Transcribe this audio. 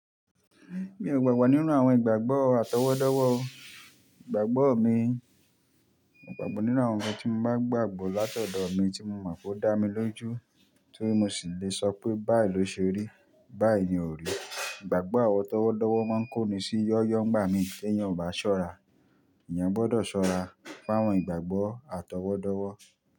Mi ò gbàgbọ́ nínú àwọn ìgbàgbọ́ àtọwọ́dọ́wọ́ o. Ìgbàgbọ́ mi, mo gbàgbọ́ nínú àwọn ǹkan tí mo bá gbàgbọ́ látọ̀dọ̀ mi tí mo mọ̀ pé ó dá mi lójú ti mó sì lè sọ pé báyìí ló ṣe rí, báyìí ni ò rí. Ìgbàgbọ́ àtọwọ́dọ́wọ́ máa ń kó ni sí yóyó ń gba mi tí èèyàn ò bá ṣọ́ra. Èèyàn gbọdọ̀ ṣọ́ra fún àwọn ìgbàgbọ́ àtọwọ́dọ́wọ́